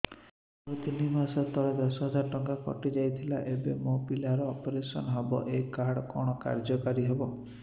ମୋର ତିନି ମାସ ତଳେ ଦଶ ହଜାର ଟଙ୍କା କଟି ଯାଇଥିଲା ଏବେ ମୋ ପିଲା ର ଅପେରସନ ହବ ଏ କାର୍ଡ କଣ କାର୍ଯ୍ୟ କାରି ହବ